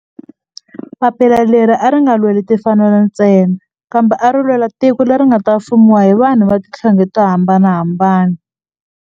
Papila leri a ri nga lweli timfanelo ntsena kambe ari lwela tiko leri nga ta fumiwa hi vanhu va tihlonge to hambanahambana.